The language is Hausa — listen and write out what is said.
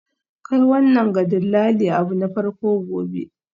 Kai wannan ga dillali abu na farko gobe.